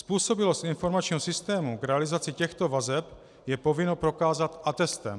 Způsobilost informačního systému k realizaci těchto vazeb je povinno prokázat atestem.